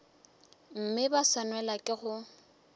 mme ba swanelwa ke go